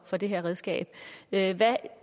for det her redskab hvad